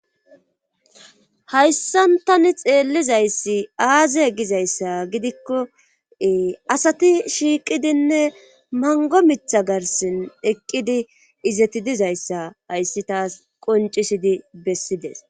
hayssantani xeellizayssi aaze gizayssa gidikko asati shiiqidinne mango mitha garsin eqqidi izeti dizayssa hayssi taas qoncisidi bessides